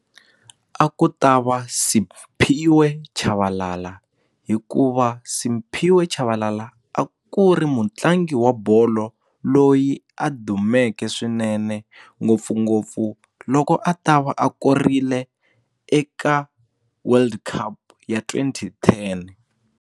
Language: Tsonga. A ku ta va Siphiwe Chabalala hikuva Siphiwe Chabalala a ku ri mutlangi wa bolo loyi a dumeke swinene ngopfungopfu loko a ta va a korile eka world cup ya twenty ten.